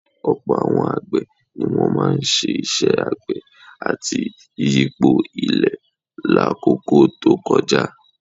Ọ̀pọ̀ àwọn àgbẹ̀ ni wọ́n máa ń ṣe iṣẹ́ àgbẹ̀ àti yíyipo ilẹ̀ lákòókò tó kọjá